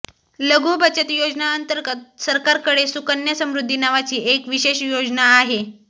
लघु बचत योजना अंतर्गत सरकारकडे सुकन्या समृद्धी नावाची एक विशेष योजना आहे